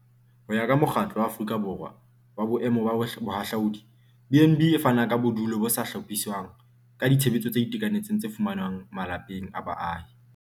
Ho ya ka Mokgatlo wa Aforika Borwa wa Boemo ba Bohahlaudi, BnB e fana ka bodulo bo sa hlophiswang ka ditshebeletso tse itekanetseng tse fumanwang malapeng a baahi.